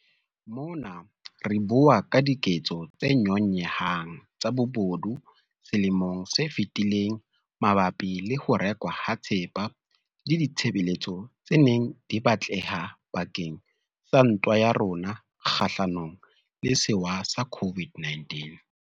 Mona re bua ka diketso tse nyonyehang tsa bobodu selemong se fetileng mabapi le ho rekwa ha thepa le ditshebeletso tse neng di batleha bake ng sa ntwa ya rona kgahlanong le sewa sa COVID-19.